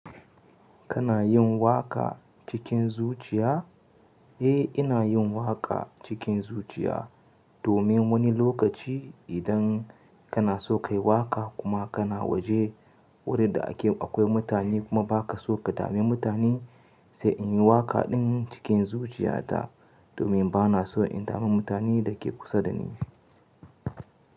Kana yin waka cikin zuciya? Eh, ina yin waka cikin zuciya domin wani lokaci idan kana so ka yi waka kuma kana waje wurin da akwai mutane kuma ba ka so ka dame mutane, sai in yi waka ɗin cikin zuciya ta domin ba na so in dame mutanen da ke kusa da ni.